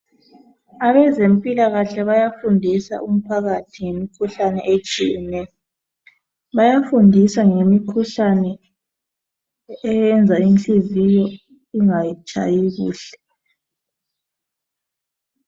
Abezempilakahle bayafundìsa umphakathi ngemikhuhlane etshiyeneyo. Bayafundisa ngemikhuhlane eyenza inhliziyo ingatshayi kuhle.